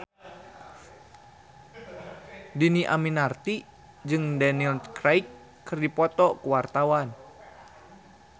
Dhini Aminarti jeung Daniel Craig keur dipoto ku wartawan